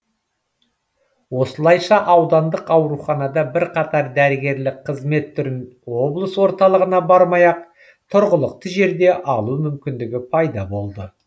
осылайша аудандық ауруханада бірқатар дәрігерлік қызмет түрін облыс орталығына бармай ақ тұрғылықты жерде алу мүмкіндігі пайда болды